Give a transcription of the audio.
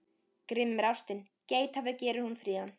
Grimm er ástin, geithafur gerir hún fríðan.